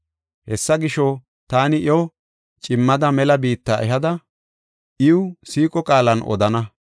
“Hessa gisho, taani iyo cimmada mela biitta ehada, iw siiqo qaalan odana.